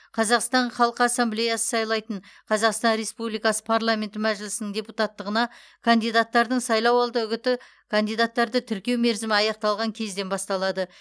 қазақстан халқы ассамблеясы сайлайтын қазақстан республикасы парламенті мәжілісінің депутаттығына кандидаттардың сайлауалды үгіті кандидаттарды тіркеу мерзімі аяқталған кезден басталады